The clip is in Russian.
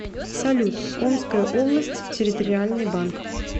салют омская область территориальный банк